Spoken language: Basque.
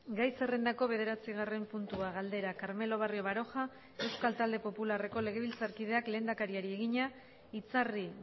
gai zerrendako bederatzigarren puntua galdera carmelo barrio baroja euskal talde popularreko legebiltzarkideak lehendakariari egina itzarri